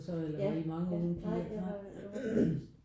Ja ja nej jeg var den eneste